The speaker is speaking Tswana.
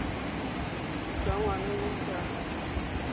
jwa ngwana yo o sa